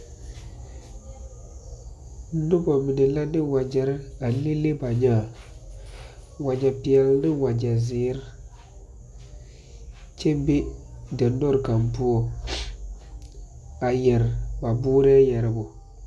Noba mine la de wagɛre a leŋ leŋ ba nyaa. Wagɛ peɛle ane wagɛ ziire kyɛ be diŋdɔre kaŋ pʋɔ a yɛre ba boorɔ yɛrebo.